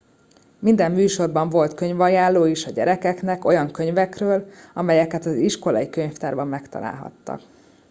minden műsorban volt könyvajánló is a gyerekeknek olyan könyvekről amelyeket az iskolai könyvtárban megtalálhattak